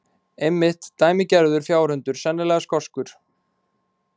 Einmitt, dæmigerður fjárhundur, sennilega skoskur.